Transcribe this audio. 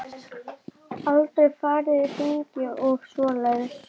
Aldrei farið í hringi og svoleiðis.